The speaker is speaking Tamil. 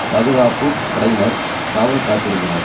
பாதுகாப்பு படையினர் காவல் காத்திருந்தனர்